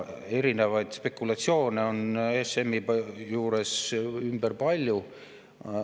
Erinevaid spekulatsioone on ESM‑i ümber palju.